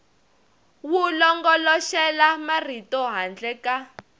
wu longoloxela marito handle ka